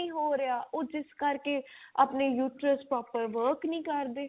ਨੀ ਹੋ ਰਿਹਾ ਉਹ ਜਿਸ ਕਰਕੇ ਆਪਣੇ uterus proper work ਨਹੀਂ ਕਰਦੇ